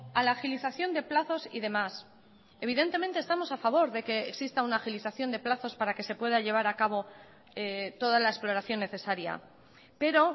a la agilización de plazos y demás evidentemente estamos a favor de que exista una agilización de plazos para que se pueda llevar acabo toda la exploración necesaria pero